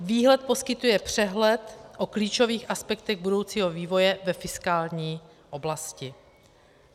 Výhled poskytuje přehled o klíčových aspektech budoucího vývoje ve fiskální oblasti.